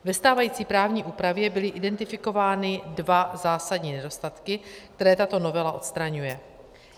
Ve stávající právní úpravě byly identifikovány dva zásadní nedostatky, které tato novela odstraňuje.